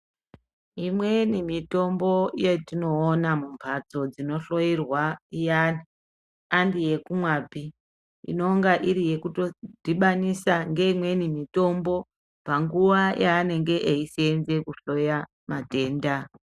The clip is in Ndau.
Imweni mitombo yetinoona mumbatso dzinohloyerwa iyani andiyekumwapi inenga iri yekutodhibanisa ngeimweni mutombo panguwa yanenge kusenza kuhloya matenda .